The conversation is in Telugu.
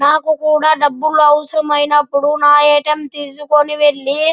నాకు కూడా డబ్బులు అవసరం అయినప్పుడు నా ఎ. టి. ఎం. తీసుకోని వెళ్లి --